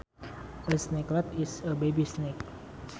A snakelet is a baby snake